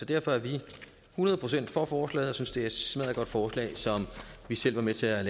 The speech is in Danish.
derfor er vi hundrede procent for forslaget vi synes det er et smaddergodt forslag som vi selv var med til at